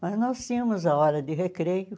Mas nós tínhamos a hora de recreio.